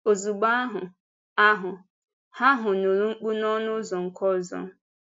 Ozugbo ahụ, ahụ, ha ahụ nụrụ mkpù n’ọnụ ụzọ nke ọzọ.